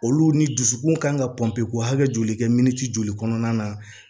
Olu ni dusukun kan ka pɔnpe ko hakɛ joli kɛ min ti joli kɔnɔna na